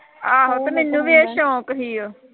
ਆਹੋ ਤੇ ਮੈਨੂੰ ਵੀ ਇਹ ਸੌਂਕ ਸੀ ਉਹ